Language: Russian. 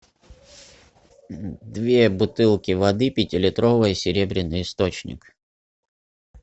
две бутылки воды пятилитровые серебряный источник